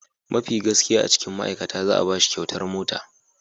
Mafi gaskiya a cikin ma'aikata za'a bashi kyautar mota.